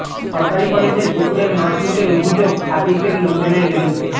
সরকারি কলেজের পুকুরের মাছ লুটের অভিযোগ সাদিকের লোকজনের বিরুদ্ধে